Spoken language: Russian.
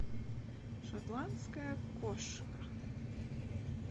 шотландская кошка